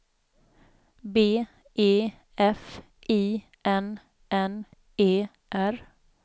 B E F I N N E R